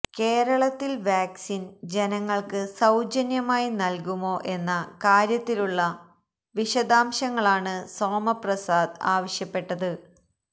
കേരളത്തിൽ വാക്സിൻ ജനങ്ങൾക്ക് സൌജന്യമായി നൽകുമോ എന്ന കാര്യത്തിലുള്ള വിശദാംശങ്ങളാണ് സോമപ്രസാദ് ആവശ്യപ്പെട്ടത്